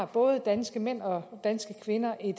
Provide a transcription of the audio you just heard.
både danske mænd og danske kvinder i